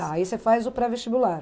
aí você faz o pré-vestibular.